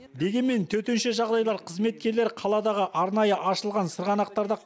дегенмен төтенше жағдайлар қызметкерлері қаладағы арнайы ашылаған сырғанақтарда